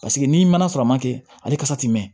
Paseke n'i ma na sɔrɔ a ma kɛ ale kasa ti mɛn